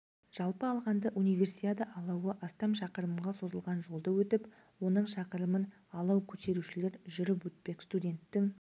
жалпы алғанда универсиада алауы астам шақырымға созылған жолды өтіп оның шақырымын алау көтерушілер жүріп өтпек студенттік